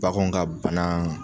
Baganw ka bana.